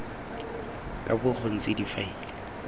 ka bo go ntse difaele